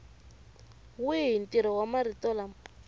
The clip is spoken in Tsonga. wihi ntirho wa marito lama